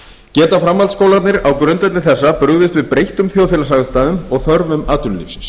geta framhaldsskólarnir á grundvelli þessa brugðist við breyttum þjóðfélagsaðstæðum og þörfum atvinnulífsins